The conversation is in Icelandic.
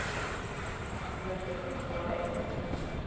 Við ætlum ekki að þrýsta á neitt.